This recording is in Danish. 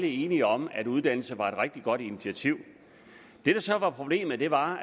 enige om at uddannelse var et rigtig godt initiativ det der så var problemet var